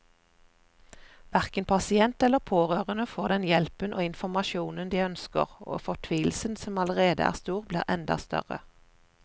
Hverken pasient eller pårørende får den hjelpen og informasjonen de ønsker, og fortvilelsen som allerede er stor, blir enda større.